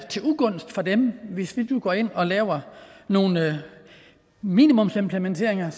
til ugunst for dem hvis vi nu går ind og laver nogle minimumsimplementeringer